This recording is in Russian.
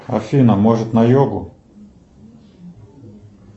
афина может на йогу